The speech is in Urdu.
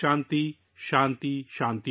شانتی شانتی